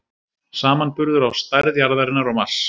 Samanburður á stærð jarðarinnar og Mars.